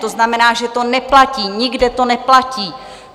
To znamená, že to neplatí, nikde to neplatí.